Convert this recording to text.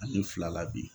Ani fila la bi